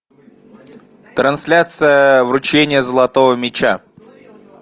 трансляция вручения золотого мяча